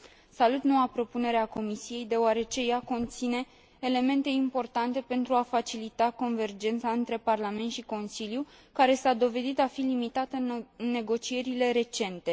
Salut noua propunere a Comisiei deoarece ea conține elemente importante pentru a facilita convergența între Parlament și Consiliu, care s a dovedit a fi limitată în negocierile recente.